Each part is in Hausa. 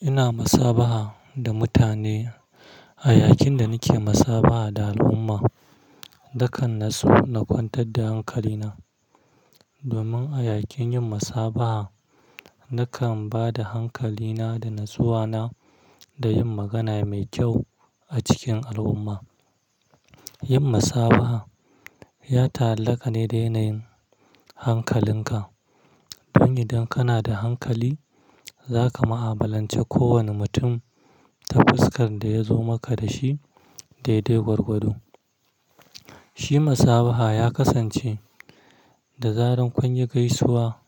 Ina masabaha da mutane a yakin da nake masabaha da al'umma, nakan naso na kwantar da hankalina. Domin a yakin yin masaba'a nakan ba da hankalina da natsuwana da yin magana mai kyau a cikin al'umma. Yin masabaha ya talhaka ne da yanayin hankalinka. Don idan kana da hankali, za ka ma'abalanci kowane mutum ta fuskan da ya zo maka dashi dai-dai gwargwado. Shi masabaha ya kasance da zaran kunyi gaisuwa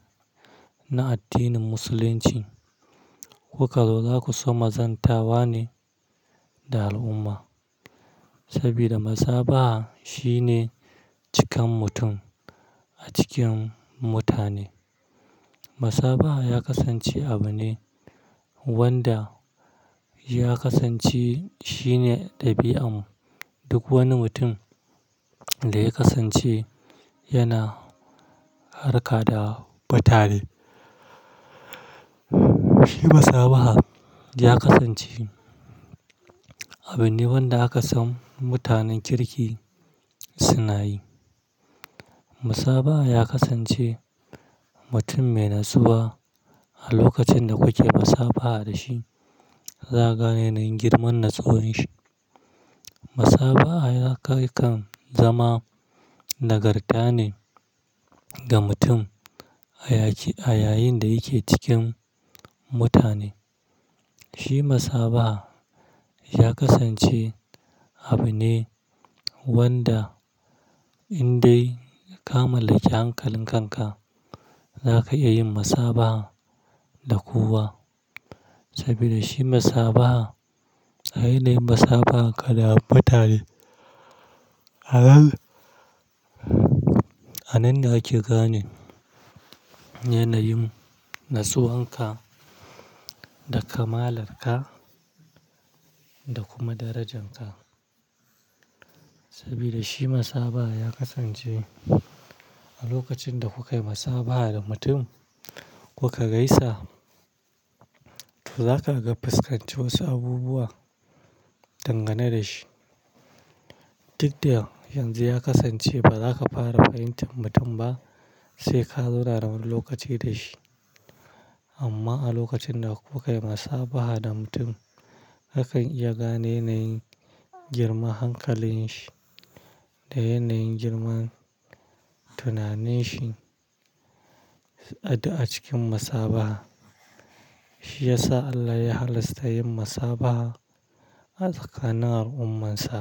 na addinin Musulunci, kuka zo zaku zo zantawa ne da al'umma. Sabida masaba'a shine cikan mutum a cikin mutane. Masabaha ya kasance abu ne wanda ya kasance shine ɗabi'an duk wani mutum da ya kasance yana harka da mutane. Shi masabaha ya kasance abu ne wanda aka san mutanen kirki suna yi. Masabaha ya kasance mutum mai natsuwa a lokacin da kuke masabaha da shi, za ka gane yanayin girman natsuwan shi. Masabaha ya kan zama nagarta ne ga mutum a ya-yayinda yake cikin mutane. Shi musabaha ya kasance abu ne wanda indai ka mallaki hankalin kanka zaka iyayin musabaha da kowa sabida shi masabaha, yanayin masabaha ka da mutane a a nan ne ake gane yanayin nasuwan ka da kamalar ka da kuma darajan ka. Sabida shi masabaha ya kasance a lokacin da kuka yi masabaha da mutum kuka gaisa, to zaka ga fuskanci wasu abubuwa dangane da shi. Duk da yanxu ya kasance baza ka fara fahimtar mutum ba sai ka zauna wani lokaci da shi amma a lokacin da kuka yi masabaha da mutum, akan iya gane yanayin girman hankalin shi da yanayin girman tunanin shi a cikin masabaha. Shi yasa Allah ya halasta yin musabaha a tsakanin al'ummar shi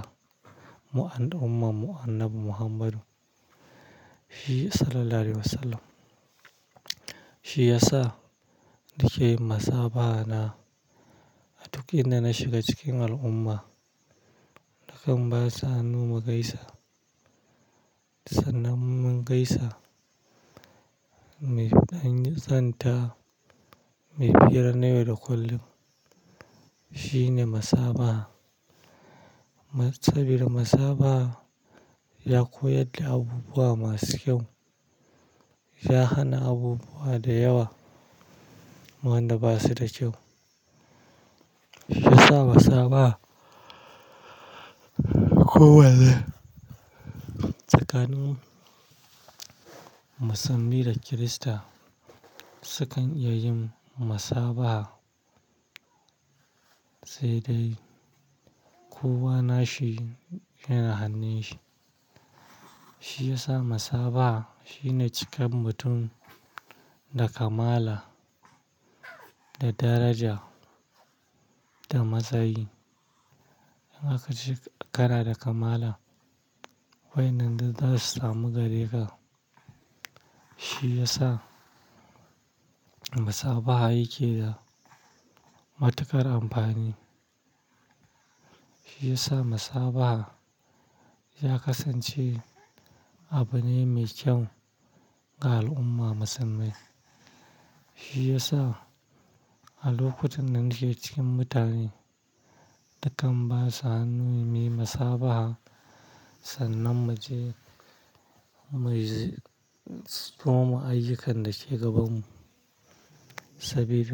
ko al'umma annabi Muhammadu Sallallahu alaihi Wasallam. Shi yasa nake yin masabaha na a duk inda na shiga cikin al'umma, nakan ba sa hannu mu gaisa. Sanan mun gaisa, an zanta muyi fira na yau da kullum shine masabaha. Sabida masabaha ya koyar da abubuwa masu kyau, ya hana abubuwa da yawa wanda ba su da kyau. Shi yasa masaba'a kowa ne tsakanin Musulmi da Kirista sukan iya yin masabaha, sai dai kowa nashi yana hannun shi. Shi yasa masabaha shine cikan mutum da kamala, da daraja, da matsayi. Zaka ji kana da kamala waɗinda za su samu gareka. Shi yasa masabaha yake da matuƙar amfani. Shi yasa masabaha ya kasance abu ne mai kyau ga al'umma musanman. Shi yasa a lokutan nan nake cikin mutane, na kan ba sa hannu mu yi masabaha, sanan mace mai soma ayyu kan dake gaban. Sabida.